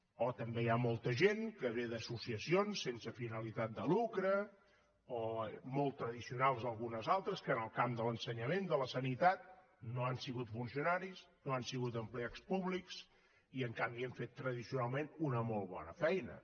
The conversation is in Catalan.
o també hi ha molta gent que ve d’associacions sense finalitat de lucre o molt tradicionals algunes altres que en el camp de l’ensenyament de la sanitat no han sigut funcionaris no han sigut empleats públics i en canvi han fet tradicionalment una molt bona feina